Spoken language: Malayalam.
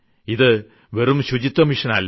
ഇത് വെറും ശുചിത്വ ദൌത്യം അല്ല